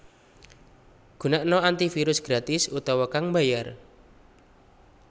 Gunakna antivirus gratis utawa kang mbayar